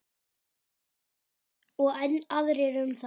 Og enn aðrir um þá.